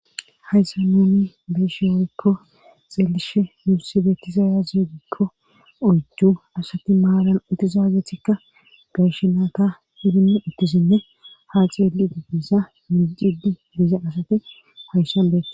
Hayssa nuni be'eshe woykko xeelishe muusibetizaaya ziegikko oyju asati maaran uttizaagethikka garshenaaka hidii uttisinne ha xeeli di diza mijidi biiza asati hayssan beeka.